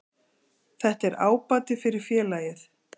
Þetta er ábati fyrir félagið.